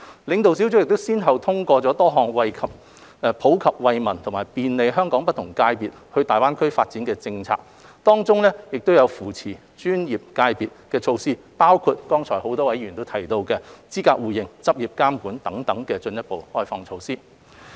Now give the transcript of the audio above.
領導小組先後通過多項普及惠民及便利香港不同界別到大灣區發展的政策，當中有扶持專業界別的措施，包括剛才很多議員提及的資格互認、執業監管等方面的進一步開放措施。